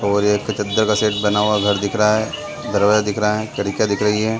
और एक चद्दर का शेड बना हुआ घर दिख रहा है दरवाजा दिख रहा है खिड़कियाँ दिख रही हैं ।